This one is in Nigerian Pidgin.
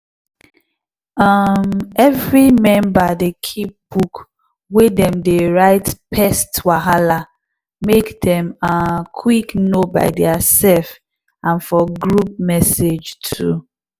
um every member dey keep book wey dem dey write pest wahala make dem um quick know by theirself and for group message too